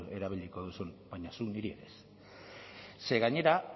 erabiliko duzun baina zuk niri ere ez ze gainera